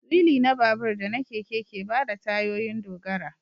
Wili na babur da na keke ke ba tayoyin dogara